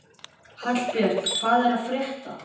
Hallbjörn, hvað er að frétta?